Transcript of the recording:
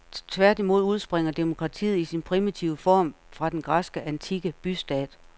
Tværtimod udspringer demokratiet i sin primitive form fra den græske antikke bystat.